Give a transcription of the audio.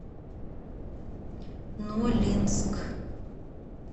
нолинск